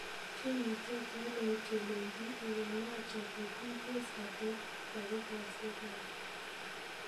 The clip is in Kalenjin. Kimnatet nelel Kelechi Iheanacho kokiikees rateet takikoosyek ab leet.